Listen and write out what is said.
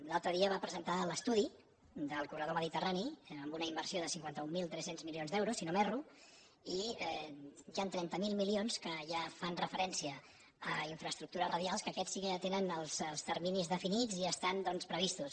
l’altre dia va presentar l’estudi del corredor mediterrani amb una inversió de cinquanta mil tres cents milions d’euros si no m’erro i hi han trenta miler milions que ja fan referència a infraestructures radials que aquests sí que ja tenen els terminis definits i estan doncs previstos